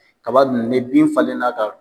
Kaba dun ne bin falenn'a ka